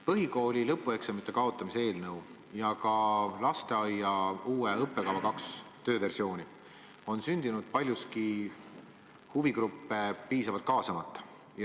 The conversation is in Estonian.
Põhikooli lõpueksamite kaotamise eelnõu ja ka lasteaia uue õppekava kaks tööversiooni on sündinud paljuski huvigruppe piisavalt kaasamata.